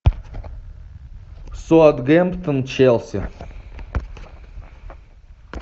саутгемптон челси